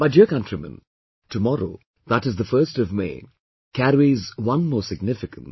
My dear countrymen, tomorrow, that is the 1st of May, carries one more significance